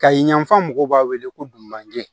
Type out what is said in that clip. Kayi yanfan mɔgɔw b'a wele ko dunanje